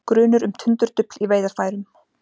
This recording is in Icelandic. Grunur um tundurdufl í veiðarfærum